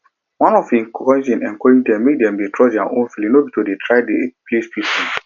one of im cousin encourage dem make dem trust their own feeling no be to dey dey try please people